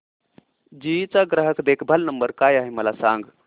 GE चा ग्राहक देखभाल नंबर काय आहे मला सांग